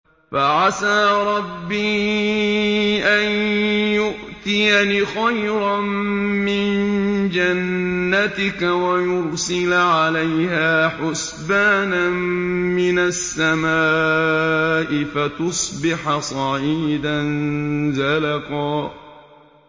فَعَسَىٰ رَبِّي أَن يُؤْتِيَنِ خَيْرًا مِّن جَنَّتِكَ وَيُرْسِلَ عَلَيْهَا حُسْبَانًا مِّنَ السَّمَاءِ فَتُصْبِحَ صَعِيدًا زَلَقًا